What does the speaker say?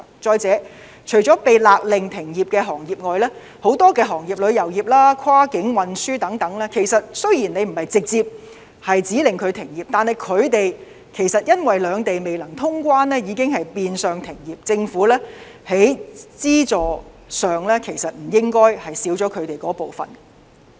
再者，除了被勒令停業的行業外，很多行業，例如旅遊業、跨境運輸等，雖然政府沒有直接指令他們停業，但他們因為兩地未能通關，已經變相停業，政府在資助方面不應不考慮他們的景況。